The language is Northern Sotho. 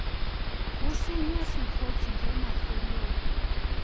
go senya sekgotse ge mafelong